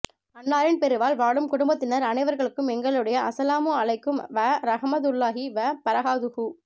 அன்னாரின் பிரிவால் வாடும் குடும்பத்தினர் அனைவர் களுக்கும் எங்களுடைய அஸ்ஸலாமு அலைக்கும் வ ரஹ்மதுல்லாஹி வ பரகாதுஹு